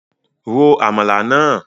Ro Àmàlà náà!